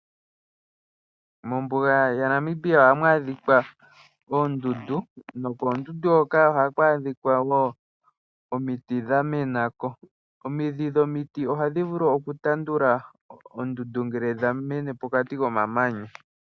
Mombuga yaNamib ohamu adhika oondundu nokoondundu hoka ohaku adhika wo omiti dha mena ko. Omidhi dhomiti ohadhi vulu okutandula ondundu, ngele dha mene pokati komamanya.